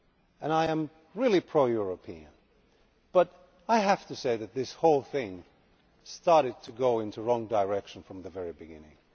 and I am really pro European, but I have to say that this whole thing started to go in the wrong direction from the very beginning.